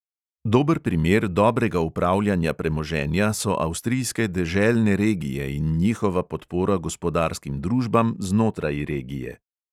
Dober primer dobrega upravljanja premoženja so avstrijske deželne regije in njihova podpora gospodarskim družbam znotraj regije.